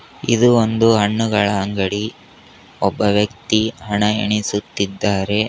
ಇದು ಒಂದು ಹಣ್ಣುಗಳ ಅಂಗಡಿ ಒಬ್ಬ ವ್ಯಕ್ತಿ ಹಣ ಎಣಿಸುತ್ತಿದ್ದಾರೆ.